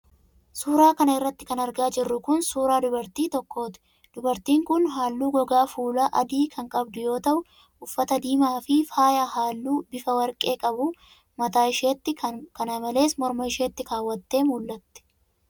Suura kana irratti kan argaa jirru kun ,suura dubartii tokkooti. Dubartiin kun haalluu gogaa fuulaa adii kan qabdu yoo ta'u, uffata diimaa fi faaya halluu bifa warqee qabu mataa isheetti kana malees morma isheetti kaawwattee mul'atti.